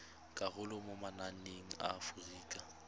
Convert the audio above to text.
karolo mo mananeng a aforika